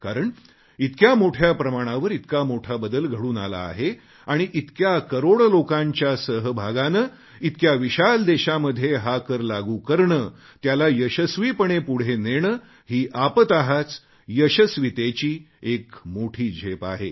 कारण इतक्या मोठ्या प्रमाणावर इतका मोठा बदल घडून आला आहे आणि इतक्या करोड लोकांच्या सहभागाने इतक्या विशाल देशामध्ये हा कर लागू करणे त्याला यशस्वीपणे पुढे नेणे ही यशस्वीतेची एक मोठी झेप आहे